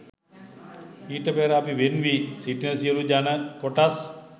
ඊට පෙර අපි වෙන්වී සිටින සියලු ජන කොටස්